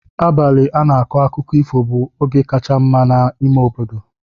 Abalị a na-akọ akụkọ ifo bụ oge kacha mma n'ime obodo.